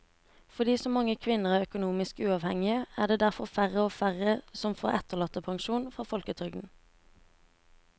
Fordi så mange kvinner er økonomisk uavhengige er det derfor færre og færre som får etterlattepensjon fra folketrygden.